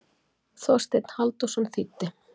Þorsteinn Halldórsson þýddi.